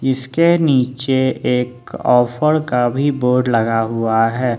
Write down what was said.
इसके नीचे एक ऑफर का भी बोर्ड लगा हुआ है।